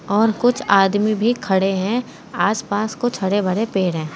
और कुछ आदमी भी खड़े हैं आस पास कुछ हरे भरे पेड़ हैं।